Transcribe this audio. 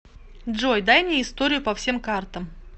джой дай мне историю по всем картам